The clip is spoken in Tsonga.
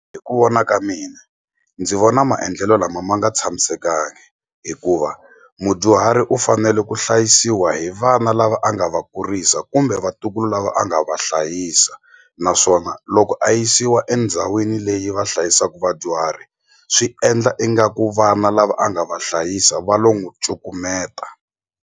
Hi ku vona ka mina ndzi vona maendlelo lama ma nga tshamisekangi hikuva mudyuhari u fanele ku hlayisiwa hi vana lava a nga va kurisa kumbe vatukulu lava a nga va hlayisa naswona loko a yisiwa endhawini leyi va hlayisaku vadyuhari swi endla ingaku vana lava a nga va hlayisa va lo n'wi cukumeta.